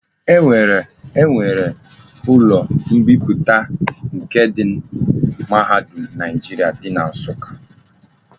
E nwere ulo mbiputa nke ndi mahadum Naijiria di na Nsuka.